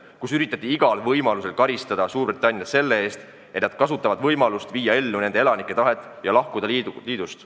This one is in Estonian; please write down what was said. Igal võimalikul moel üritati karistada Suurbritanniat selle eest, et nad kasutavad võimalust viia ellu nende elanike tahet ja lahkuda liidust.